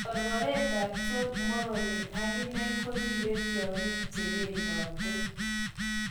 Korkoret ab John Morony akine koribe tiogyikb chebedote.